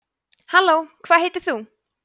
halló hvað heitir þú